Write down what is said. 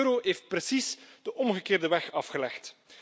De euro heeft precies de omgekeerde weg afgelegd.